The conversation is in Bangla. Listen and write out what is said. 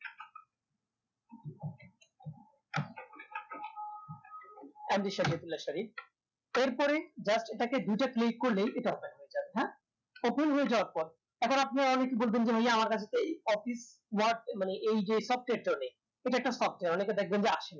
MD শরীয়তুল্লাহ শরীফ এরপরে just এটাকে দুটা click করলেই এটা open হয়ে যাবে হ্যা open হয়ে যাওয়ার পর এখন আপনারা অনেকেই বলবেন যে ভাইয়া আমার কাছে তো এই office word মানে এই যে software টা ও নেই এটা একটা software অনেকে দেখবেন যে আসেনি